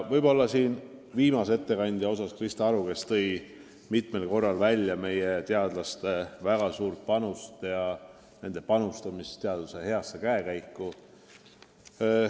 Viimane ettekandja Krista Aru tõi mitmel korral välja meie teadlaste väga suure panuse teaduse heasse käekäiku.